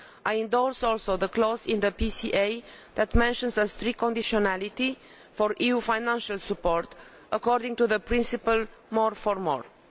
I endorse also the clause in the PCA that mentions the strict conditionality for EU financial support according to the principle of more for more'.